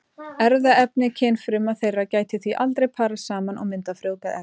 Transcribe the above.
Erfðaefni kynfruma þeirra gæti því aldrei parast saman og myndað frjóvgað egg.